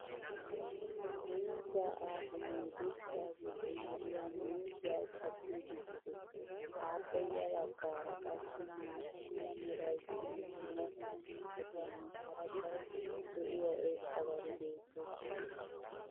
miizzaa aakimee dirssa giddon diya miizzaa cadiiddi des. appe ya bagaara qassi maata mala meray diyo dumma dumma mitatinne hara daro lo'iya irxxabati beettoosona.